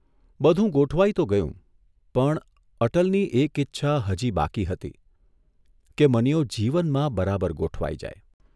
બધું ગોઠવાઇ તો ગયું, પણ અટલની એક ઇચ્છા હજી બાકી હતી કે મનીયો જીવનમાં બરાબર ગોઠવાઇ જાય.